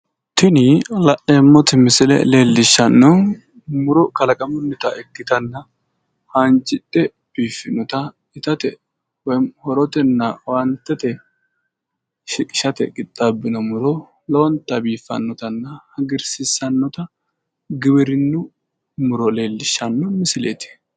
Tini la'neemmoti misile leellishshanno muro kalaqamunnita ikkitanna haanjidhe biiffinota itate woyi horotenna owaantete shiqishate qixxaabbino muro lowonta biiffannotanna hagiirsiissannota giwirinnu muro leellishshanno misileeti.